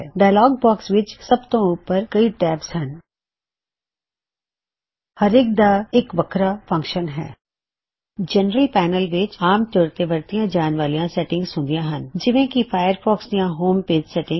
dialogue box ਵਿਚ ਸਭ ਤੋਂ ਉੱਪਰ ਕਈ ਟੈਬਜ਼ ਹਨ ਹਰੇਕ ਦਾ ਇਕ ਵੱਖਰਾ ਫੰਕਸ਼ਨ ਹੈ ਜਨਰਲ ਪੈਨਲ ਵਿਚ ਆਮ ਤੌਰ ਤੇ ਵਰਤੀਆਂ ਜਾਣ ਵਾਲੀਆਂ ਸੈਟਿੰਗਜ਼ ਹੁੰਦੀਆਂ ਹਨ ਜਿਵੇਂ ਕਿ ਫਾਇਰਫੌਕਸ ਦੀਆਂ ਹੋਮ ਪੇਜ ਸੈਟਿੰਗ